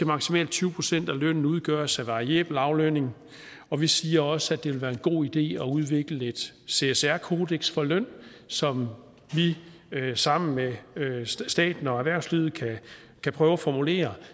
maksimalt tyve procent af lønnen må udgøres af variabel aflønning og vi siger også at det vil være en god idé at udvikle et csr kodeks for løn som vi sammen med staten og erhvervslivet kan prøve at formulere